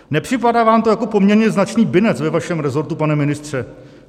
Nepřipadá vám to jako poměrně značný binec ve vašem rezortu, pane ministře?